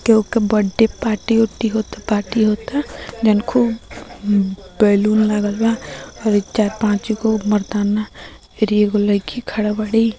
कोई के birthday party होती होता पार्टी होता देन खूब बैलून लगलवा चार पाँच को मर्दाना रे एगो लड़की खडल बाड़ी।